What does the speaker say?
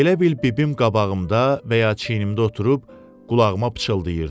Elə bil bibim qabağımda və ya çiyinimdə oturub qulağıma pıçıldayırdı.